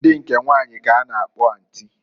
Ndi nke nwanyi k'a na-akpọ antị.